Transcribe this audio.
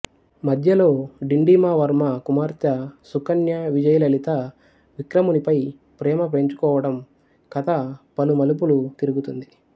మధ్యలో డిండిమవర్మ కుమార్తె సుకన్య విజయలలిత విక్రమునిపై ప్రేమ పెంచుకోవటం కథ పలు మలుపులు తిరుగుతుంది